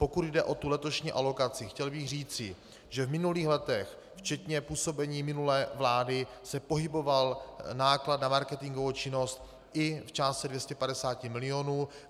Pokud jde o tu letošní alokaci, chtěl bych říci, že v minulých letech, včetně působení minulé vlády, se pohyboval náklad na marketingovou činnost i v částce 250 milionů.